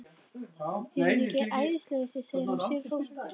Er hún ekki æðisleg þessi? segir hann sigri hrósandi.